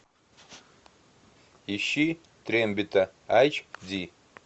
ищи трембита эйч ди